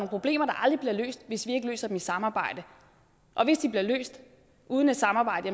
problemer der aldrig bliver løst hvis vi ikke løser dem i et samarbejde og hvis de bliver løst uden et samarbejde